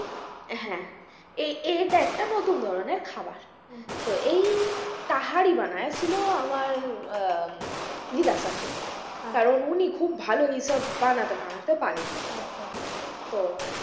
হ্যাঁ এ এটা একটা নতুন ধরনের খাবার ও আচ্ছা তো এই তাহারি বানিয়েছিল আমার আহ দিদা শাশুড়ি আচ্ছা কারণ উনি খুব ভালো এই সব বানাতে টানাতে পারেন আচ্ছা আচ্ছা তো,